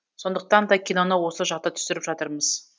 сондықтан да киноны осы жақта түсіріп жатырмыз